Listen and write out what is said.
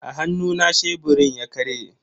A hannuna sheburin ya karye.